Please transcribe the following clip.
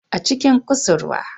A cikin kusurwa